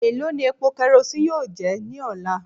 Elo ni epo kerosene yoo jẹ ni ọla?